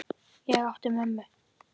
Ég átti mömmu.